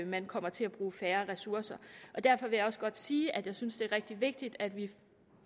man kommer til at bruge færre ressourcer derfor vil jeg også godt sige at jeg synes at det er rigtig vigtigt at vi